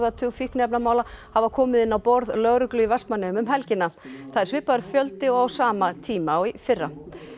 tug fíkniefnamála hafa komið inn á borð lögreglu í Vestmannaeyjum um helgina það er svipaður fjöldi og á sama tíma í fyrra